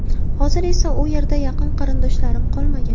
Hozir esa u yerda yaqin qarindoshlarim qolmagan.